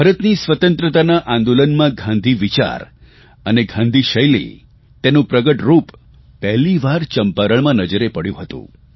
ભારતની સ્વતંત્રતાના આંદોલનમાં ગાંધીવિચાર અને ગાંધીશૈલી તેનું પ્રગટરૂપ પહેલીવાર ચંપારણમાં નજરે પડ્યું હતું